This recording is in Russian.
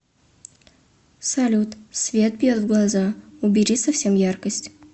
салют свет бьет в глаза убери совсем яркость